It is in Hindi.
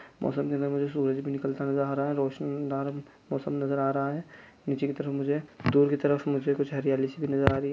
मौसम जैसा मुझे सूरज भी निकलता नज़र आ रहा है रौशनी दान मौसम नज़र आ रहा है नीचे की तरफ मुझे दूर की तरफ मुझे कुछ हरयाली सी भी नज़र आ रही है।